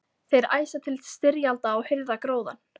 Þeir æsa til styrjalda og hirða gróðann.